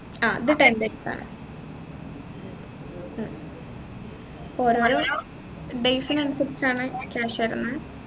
ആഹ് ഇത് ten days ആണ് മ് ഓരോരോ days നനുസരിച്ചാണ് cash വരുന്ന